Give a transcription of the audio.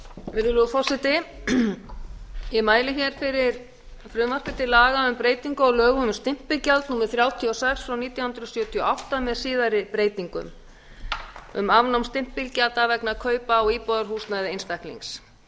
virðulegur forseti ég mæli hér fyrir frumvarpi til laga um breytingu á lögum um stimpilgjald númer þrjátíu og sex nítján hundruð sjötíu og átta með síðari breytingum um afnám stimpilgjalda vegna kaupa á íbúðarhúsnæði einstaklings